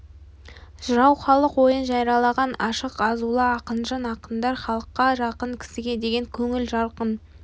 жырау халық ойын жариялаған ашық азулы ақынжан ақындар халыққа жақын кісіге деген көңілі жарқын